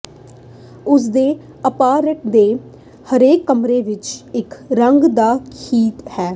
ਉਸਦੇ ਅਪਾਰਟਮੈਂਟ ਦੇ ਹਰੇਕ ਕਮਰੇ ਵਿੱਚ ਇੱਕ ਰੰਗ ਦਾ ਥੀਮ ਹੈ